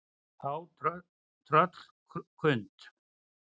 Þá tröllkund